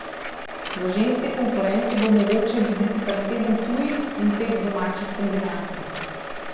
V ženski konkurenci bo mogoče videti kar sedem tujih in pet domačih kombinacij.